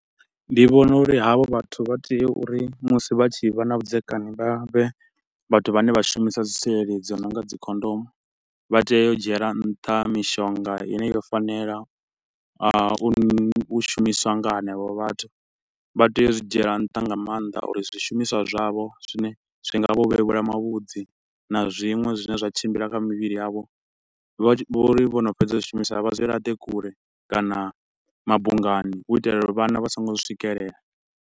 Ndi vhona uri havho vhathu vha tea uri musi vha tshi vha na vhudzekani vha vhe vhathu vhane vha shumisa dzi tsireledzi dzi no nga dzi khondomu. Vha tea u dzhiela nṱha mishonga ine yo fanela a, u shumiswa nga henevho vhathu, vha tea u zwi dzhiela nṱha nga maanḓa uri zwishumiswa zwavho zwine zwi nga vha vhevhula mavhudzi na zwiṅwe zwine zwa tshimbila kha mivhili yavho. Vha tshi, vha ri vho no fhedza u zwishumisa vha zwi laṱe kule kana mabungani u itela uri vhana vha so ngo zwi swikelela.